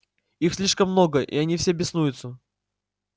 их слишком много и они все беснуются